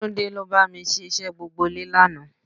Túndé ló bá mi ṣiṣẹ́ gbogbo ilé lánàá